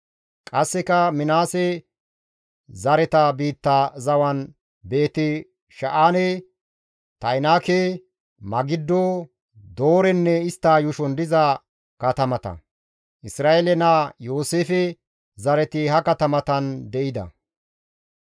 Qasseka Minaase zareta biitta zawan Beeti-Sha7aane, Ta7inaake, Magiddo, Doorenne istta yuushon diza katamata; Isra7eele naa Yooseefe zareti ha katamatan de7ida.